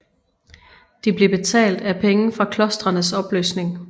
De blev betalt af penge fra klostrenes opløsning